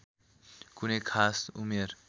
कुनै खास उमेर